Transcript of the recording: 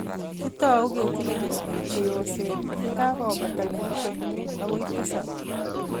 kitou ketile ketik cheyosen yekakobata kenyisiek muutu akoi tisab